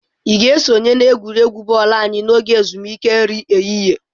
Ị ga-esonye n'egwuregwu bọọlụ anyị n'oge ezumike nri ehihie?